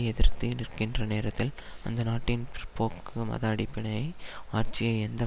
எதிர்த்து நிற்கின்ற நேரத்தில் அந்த நாட்டின் பிற்போக்கு மத அடிப்படை ஆட்சியை எந்த